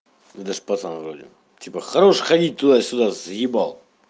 это ж пацан вроде типа хорош ходить туда сюда заебал